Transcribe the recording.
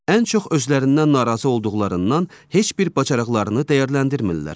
Ən çox özlərindən narazı olduqlarından heç bir bacarıqlarını dəyərləndirmirlər.